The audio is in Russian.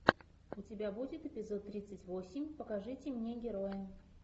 у тебя будет эпизод тридцать восемь покажите мне героя